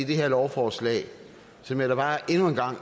det her lovforslag som jeg da bare endnu en gang